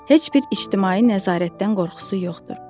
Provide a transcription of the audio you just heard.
Heç bir ictimai nəzarətdən qorxusu yoxdur.